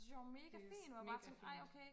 det synes jeg var mega fint hvor jeg bare tænkte ej okay